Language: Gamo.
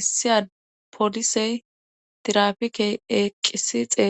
issiya polisey tirapikey eeqqisi xeel.